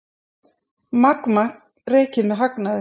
Magma rekið með hagnaði